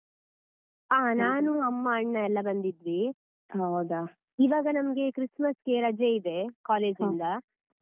ಹ ನಾನು, ಅಮ್ಮ, ಅಣ್ಣ ಎಲ್ಲ ಬಂದಿದ್ವಿ ಈವಾಗ ನಮ್ಗೆ Christmas ಗೆ ರಜೆ ಇದೆ college ಇಂದ.